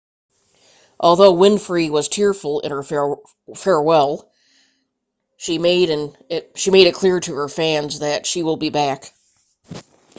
although winfrey was tearful in her farewell she made it clear to her fans she will be back